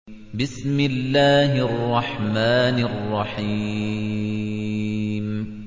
بِسْمِ اللَّهِ الرَّحْمَٰنِ الرَّحِيمِ